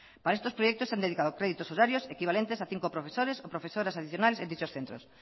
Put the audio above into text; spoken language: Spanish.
para estos proyectos se han dedicado créditos horarios equivalentes a cinco profesores o profesoras adicionales en dicho centros